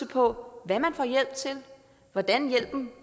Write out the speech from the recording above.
på hvad man får hjælp til hvordan hjælpen